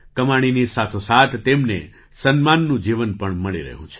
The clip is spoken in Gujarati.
કમાણીની સાથોસાથ તેમને સન્માનનું જીવન પણ મળી રહ્યું છે